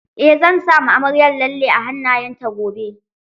Eh zan sama amaryar lalle a hannayen ta gobe